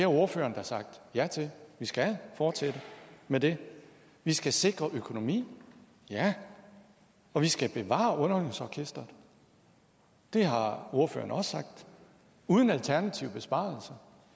ordføreren har sagt ja til at vi skal fortsætte med dem vi skal sikre økonomien ja og vi skal bevare underholdningsorkestret det har ordføreren også sagt uden alternative besparelser